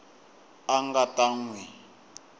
a nga ta n wi